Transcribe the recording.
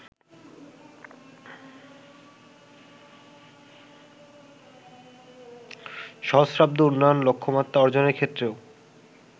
সহস্রাব্দ উন্নয়ন লক্ষ্যমাত্রা অর্জনের ক্ষেত্রেও